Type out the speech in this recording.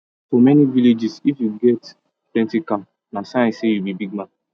for many villages if you get plenty cow na sign say you be big man